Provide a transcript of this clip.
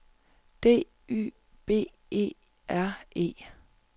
D Y B E R E